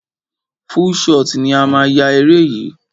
Full shot ni a máa yá eré yìí.